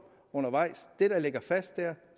undervejs det der ligger fast er